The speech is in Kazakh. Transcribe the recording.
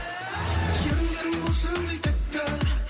еріндерің бал шырындай тәтті